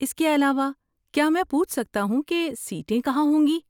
اس کے علاوہ، کیا میں پوچھ سکتا ہوں کہ سیٹیں کہاں ہوں گی؟